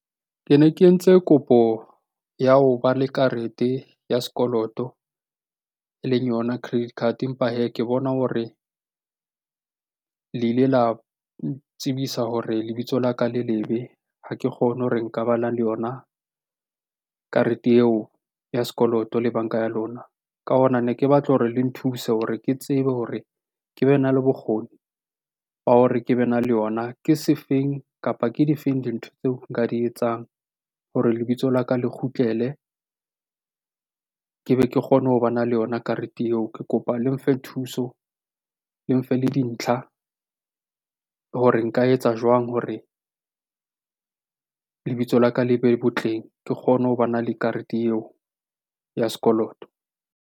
Ke ne ke entse kopo ya ho ba le karete ya sekoloto e leng yona credit card, empa hee ke bona hore le ile la ntsibisa hore lebitso la ka le lebe. Ha ke kgone ho re ngabala le yona karete eo ya sekoloto le banka ya lona. Ka hona ne ke batla hore le nthuse hore ke tsebe hore ke be na le bokgoni ba hore ke be na le yona ke se feng, kapa ke difeng dintho tseo nka di etsang hore lebitso la ka le kgutlele? Ke be ke kgone ho bana le yona karete eo. Ke kopa le mfe thuso, le mfe le dintlha hore nka etsa jwang hore lebitso la ka le be botleng ke kgone ho bana le karete eo ya sekoloto.